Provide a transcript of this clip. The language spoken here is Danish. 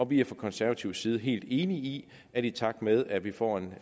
vi er fra konservativ side helt enige i at i takt med at vi får en